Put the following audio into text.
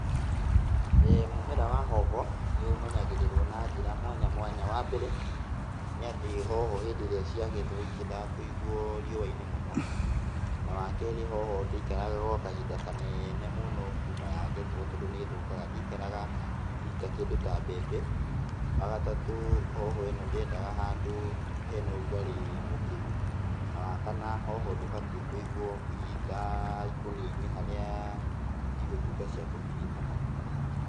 Mũmera wa hoho, nĩũmenyagĩrĩrwo na njĩra mwanya mwanya, wambere nĩatĩ hoho hĩndĩ ĩrĩa ciagethwo itiendaga kũigwo riũa-inĩ mũno. Na awakerĩ hoho ndĩikaraga gwa kahinda kaneene mũno kuma ya gethwo tondũ nĩthũkaga. Ndĩikaraga hihi ta kĩndũ ta mbembe. Wagatatũ hoho ĩno ndĩendaga handũ hena ũrugarĩ mũkĩru. Na wakana hoho ndĩbatiĩ kũigwo hihi ta ikũnia-inĩ harĩa cigũtuĩka cia kũhihinyana.